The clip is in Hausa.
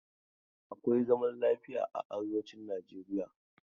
Akwai zaman lafiya a arewacin Nijeriya.